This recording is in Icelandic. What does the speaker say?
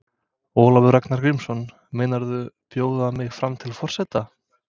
Ólafur Ragnar Grímsson: Meinarðu bjóða mig fram til forseta?